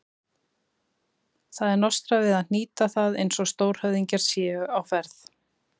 Það er nostrað við að hnýta það eins og stórhöfðingjar séu á ferð.